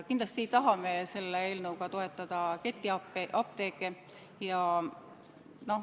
Kindlasti ei taha me selle eelnõuga toetada ketiapteeke.